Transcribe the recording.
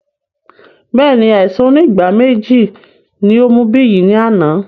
Bẹẹni, àìsàn onígbáméjì ní ó mú Biyi ní àná